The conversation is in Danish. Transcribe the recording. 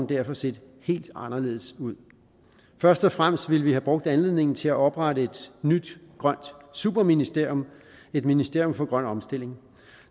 derfor set helt anderledes ud først og fremmest ville vi have brugt anledningen til at oprette et nyt grønt superministerium et ministerium for grøn omstilling